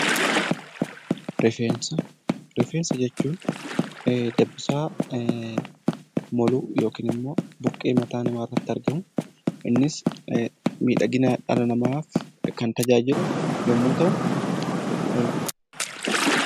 Rifeensa Rifeensa jechuun dabbasaa moluu yookiin immoo buqqee mataa namaa irratti argamu. Innis miidhagina dhala namaaf kan tajaajilu yommuu ta'u;